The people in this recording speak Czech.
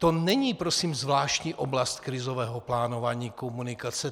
To není, prosím, zvláštní oblast krizového plánování - komunikace.